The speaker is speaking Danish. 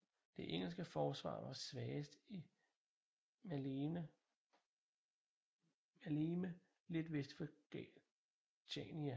Det engelske forsvar var svagest i Maleme lidt vest for Chania